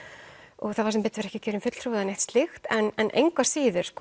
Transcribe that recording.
og það var sem betur fer ekki kjörinn fulltrúi eða neitt slíkt en engu að síður